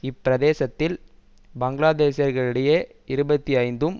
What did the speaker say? இப்பிரதேசத்தில் பங்களாதேசியர்களிடையே இருபத்தி ஐந்தும்